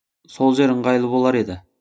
сол жер ыңғайлы болар еді